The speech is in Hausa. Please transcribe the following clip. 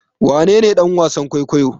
Wanene dan wasan kwaikwayo?